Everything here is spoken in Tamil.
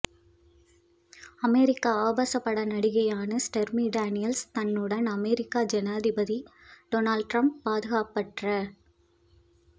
அமெரிக்க ஆபாசப் பட நடிகையான ஸ்டோர்மி டானியல்ஸ் தன்னுடன் அமெரிக்க ஜனாதிபதி டொனால்ட் ட்ரம்ப் பாதுகாப்பற்ற